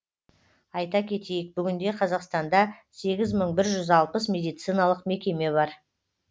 айта кетейік бүгінде қазақстанда сегіз мың бір жүз алпыс медициналық мекеме бар